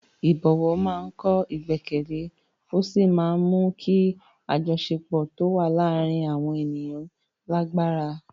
Ìbọ̀wọ̀ máa ń kọ́ ìgbẹ́kẹ̀lé ó sì máa ń mú kí àjọṣepọ̀ tó wà láàárín àwọn ènìyàn lágbára.